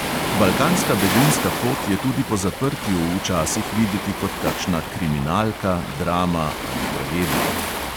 Balkanska begunska pot je tudi po zaprtju včasih videti kot kakšna kriminalka, drama ali tragedija.